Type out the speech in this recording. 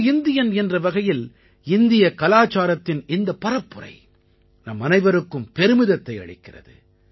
ஒரு இந்தியன் என்ற வகையில் இந்தியக் கலாச்சாரத்தின் இந்தப் பரப்புரை நம்மனைவருக்கும் பெருமிதத்தை அளிக்கிறது